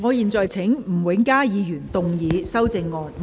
我現在請吳永嘉議員動議修正案。